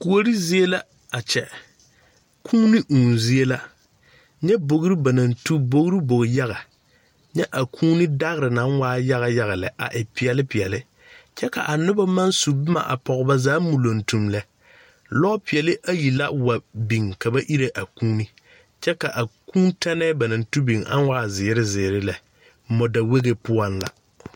Kuorizie la a kyɛ kūūni ūū zie la nyɛ bogri ba naŋ tugi bogri bogri yaga nyɛ a kūūni dagre naŋ waa yaga lɛ a e peɛle peɛle kyɛ ka a noba maŋ su boma a pɔge ba zaa muluntum lɛ lopeɛle ayi la wa biŋ ka ba ire a kūūni kyɛ ka a kūū tɛne ba naŋ tugi biŋ ka a waa zeere zeere lɛ mɔdawɛge poɔŋ la.